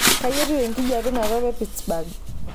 kayieu etiu enkajape inakop e pittsburgh